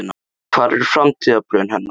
Hver eru framtíðarplön hennar?